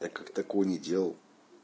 я как-то кони делал